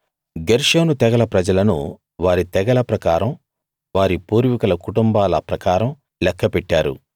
గెర్షోను తెగల ప్రజలను వారి తెగల ప్రకారం వారి పూర్వీకుల కుటుంబాల ప్రకారం లెక్క పెట్టారు